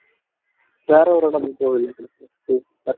வேற ஒரு இடமும் போகலையா கிறிஸ்துமஸுக்கு